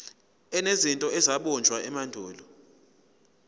enezinto ezabunjwa emandulo